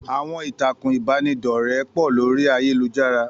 Àwọn ìtàkùn ìbánidọ́rẹ́ pọ̀ lórí ayélujára.